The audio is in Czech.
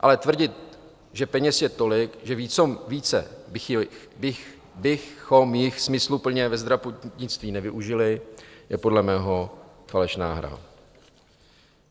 Ale tvrdit, že peněz je tolik, že více bychom jich smysluplně ve zdravotnictví nevyužili, je podle mého falešná hra.